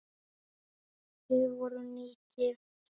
Við vorum nýgift!